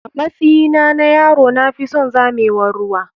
Amatsyina na yaro na fison zamewar ruwa.